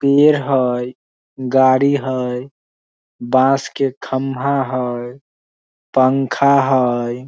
पेर हेय गाड़ी हेय बांस के खम्भा हेय पंखा हेय ।